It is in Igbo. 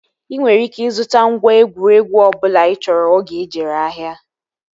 Ị nwere ike ịzụta ngwa egwuregwu ọbụla ị chọrọ oge ị jere ahịa